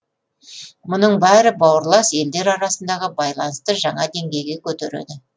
мұның бәрі бауырлас елдер арасындағы байланысты жаңа деңгейге көтереді